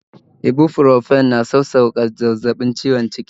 Ibuprofen na sauƙake zafin ciwon jiki